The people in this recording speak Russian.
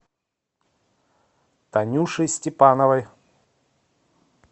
танюши степановой